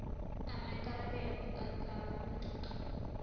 a maikarebelo a tsa matlotlo